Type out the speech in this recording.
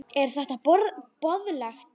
Er þetta boðlegt?